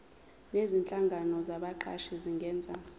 nezinhlangano zabaqashi zingenza